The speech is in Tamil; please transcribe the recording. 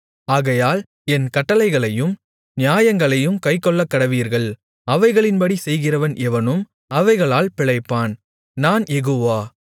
ஆகையால் என் கட்டளைகளையும் நியாயங்களையும் கைக்கொள்ளக்கடவீர்கள் அவைகளின்படி செய்கிறவன் எவனும் அவைகளால் பிழைப்பான் நான் யெகோவா